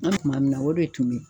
kuma min na o de tun bɛ yen.